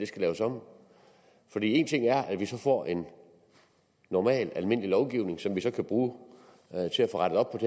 skal laves om for en ting er at vi så får en normal almindelig lovgivning som vi så kan bruge til at få rettet op